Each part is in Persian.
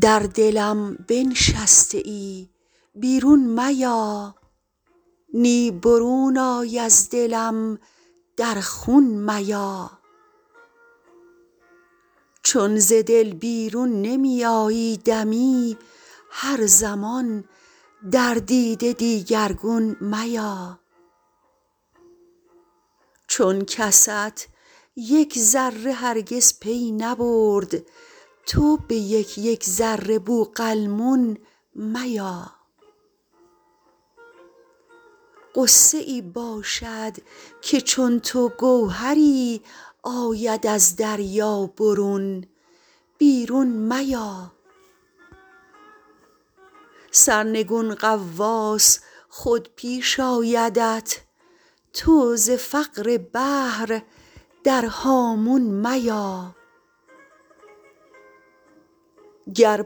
در دلم بنشسته ای بیرون میا نی برون آی از دلم در خون میا چون ز دل بیرون نمی آیی دمی هر زمان در دیده دیگرگون میا چون کست یک ذره هرگز پی نبرد تو به یک یک ذره بوقلمون میا غصه ای باشد که چون تو گوهری آید از دریا برون بیرون میا سرنگون غواص خود پیش آیدت تو ز فقر بحر در هامون میا گر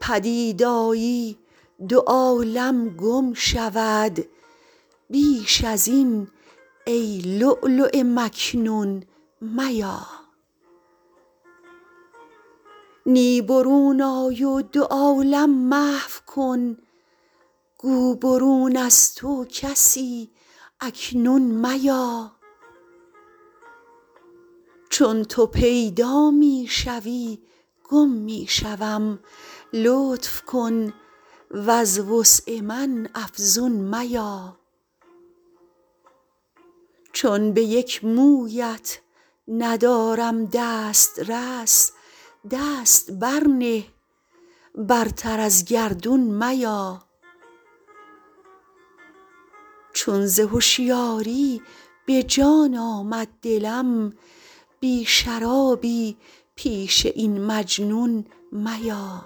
پدید آیی دو عالم گم شود بیش از این ای لولو مکنون میا نی برون آی و دو عالم محو کن گو برون از تو کسی اکنون میا چون تو پیدا می شوی گم می شوم لطف کن وز وسع من افزون میا چون به یک مویت ندارم دست رس دست بر نه برتر از گردون میا چون ز هشیاری به جان آمد دلم بی شرابی پیش این مجنون میا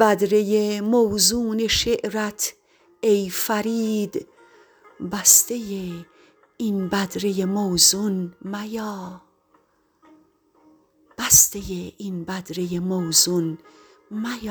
بدره موزون شعرت ای فرید بسته این بدره موزون میا